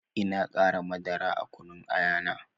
Ina qara madara a kunun aya na